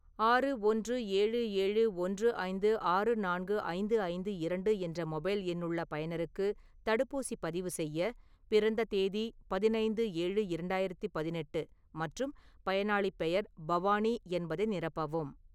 ஆறு ஒன்று ஏழு ஏழு ஒன்று ஐந்து ஆறு நான்கு ஐந்து ஐந்து இரண்டு என்ற மொபைல் எண்ணுள்ள பயனருக்கு தடுப்பூசிப் பதிவு செய்ய, பிறந்த தேதி பதினைந்து-ஏழு -இரண்டாயிரத்து பதினெட்டு மற்றும் பயனாளிப் பெயர் பவானி என்பதை நிரப்பவும்.